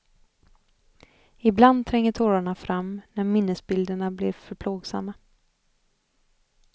Ibland tränger tårarna fram när minnesbilderna blir för plågsamma.